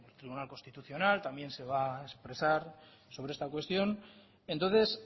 tribunal constitucional también se va a expresar sobre esta cuestión entonces